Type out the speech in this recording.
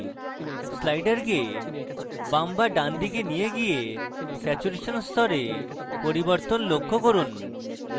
slider বাম এবং ডান দিকে নিয়ে গিয়ে স্যাচুরেশন স্তরে পরিবর্তন লক্ষ্য করুন